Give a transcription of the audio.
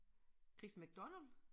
Chris MacDonald?